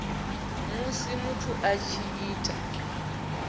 musi muthu a tshi ita